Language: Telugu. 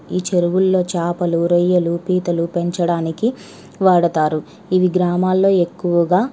ఈ చెరువుల్లో చాపల్లు రోయల్లు పంచాల్లు పంచడానికి వాడుతారు. ఇవి గ్రామాల్లో ఎక్కువ --